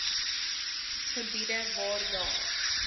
gebiede waar daar